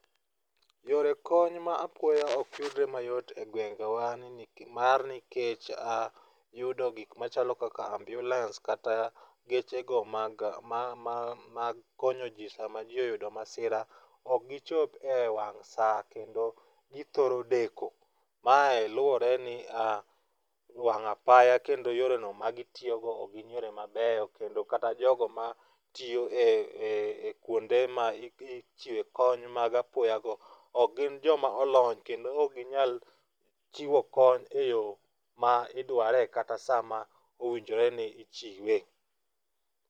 Yore kony ma apoyo ok yudre mayot e gwenge wa ni nikech mar nikech a yudo gik machalo kaka ambulance kata geche go mag ma ma mag konyo ji sama jii oyudo masira. Ok gichop e wang' saa kendo githoro deko. Mae luwore ni wang'apaya kendo yore no magitiyo go ok yore mabeyo kendo kata jogo matiyo e kuonde ma ma ichiwe kony mag apoya go ok gin joma olony kendo ok ginyal chiwo kony eyo ma idware kata saa ma owinjore ni ichiwe.